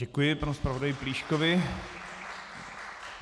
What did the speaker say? Děkuji panu zpravodaji Plíškovi.